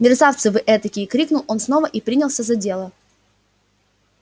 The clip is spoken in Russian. мерзавцы вы этакие крикнул он снова и принялся за дело